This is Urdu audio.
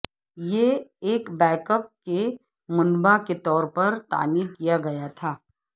یہ ایک بیک اپ کے منبع کے طور پر تعمیر کیا گیا تھا